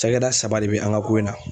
Cakɛda saba de bɛ an ka ko in na.